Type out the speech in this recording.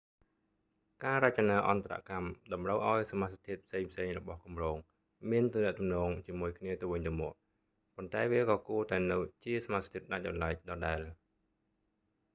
ការរចនាអន្តរកម្មតម្រូវឱ្យសមាសធាតុផ្សេងៗរបស់គម្រោងមានទំនាក់ទំនងជាមួយគ្នាទៅវិញទៅមក ប៉ុន្តែវាក៏គួរតែនៅជាសមាសធាតុដាច់ដោយឡែកដដែល